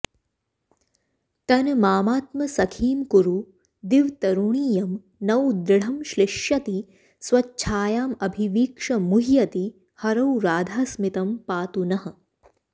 तन् मामात्मसखीं कुरु दिव्तरुणीयं नौ दृढं श्लिष्यति स्वच्छायामभिवीक्ष मुह्यति हरौ राधास्मितं पातु नः